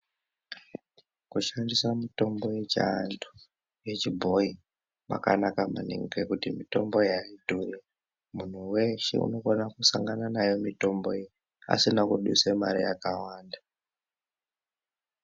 Kushandisa mitombo yechiantu, yechibhoyi kwakanaka maningi ngokuti mitombo iyi aidhuri. Muntu weshe unokona kusangana nayo mitombo iyi asina kudusa mare yakawanda.